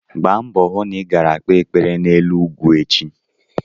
Gba mbọ hụ na i gara kpee ekpere n'elu ugwu echi!